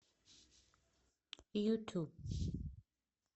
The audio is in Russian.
юту